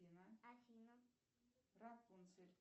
афина рапунцель